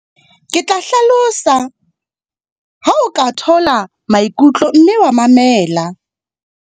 Ke tla hlalosa ha o ka theosa maikutlo mme wa mamela.